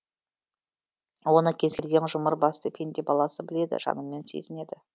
оны кез келген жұмыр басты пенде баласы біледі жанымен сезінеді